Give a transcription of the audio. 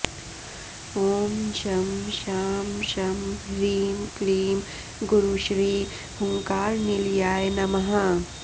ॐ शं शां षं ह्रीं क्लीं गुरुश्री हुङ्कारनिलयाय नमः